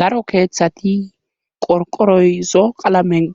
daro keeththati qorqoroyzo qalamen